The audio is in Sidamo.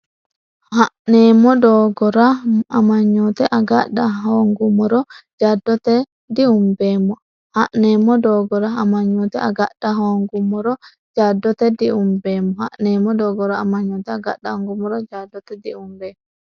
Ha’neemmo doogora amanyoote agadha hoongummoro jaddote diumbeemmo Ha’neemmo doogora amanyoote agadha hoongummoro jaddote diumbeemmo Ha’neemmo doogora amanyoote agadha hoongummoro jaddote.